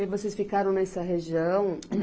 E vocês ficaram nessa região?